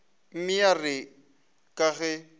mme ya re ka ge